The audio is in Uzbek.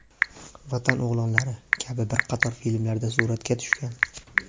"Vatan o‘g‘lonlari" kabi bir qator filmlarda suratga tushgan.